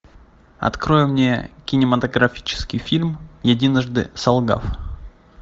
открой мне кинематографический фильм единожды солгав